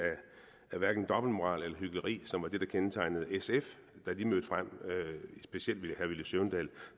dobbeltmoral eller hykleri som var det der kendetegnede sf da de mødte frem specielt herre villy søvndal